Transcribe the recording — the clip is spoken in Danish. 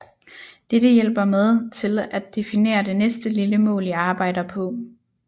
Dette hjælper med til at definere det næste lille mål i arbejder på